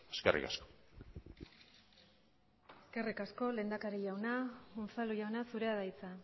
eskerrik asko eskerrik asko lehendakari jauna unzalu jauna zurea da hitza